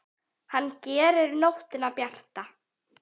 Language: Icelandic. Hann gerir nóttina bjarta.